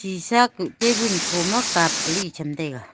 sisa kuh table khoma cup ali cham taiga.